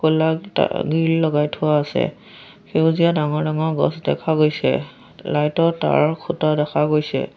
কিতা গ্ৰিল লগাই থোৱা আছে সেউজীয়া ডাঙৰ-ডাঙৰ গছ দেখা গৈছে লাইট ৰ তাঁৰৰ খুঁটা দেখা গৈছে।